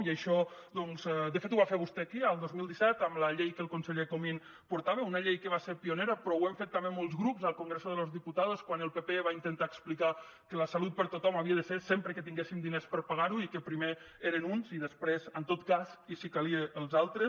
i això doncs de fet ho va fer vostè aquí el dos mil disset amb la llei que el conseller comín portava una llei que va ser pionera però ho hem fet també molts grups al congreso de los diputados quan el pp va intentar explicar que la salut per a tothom havia de ser sempre que tinguéssim diners per pagar la i que primer eren uns i després en tot cas i si calia els altres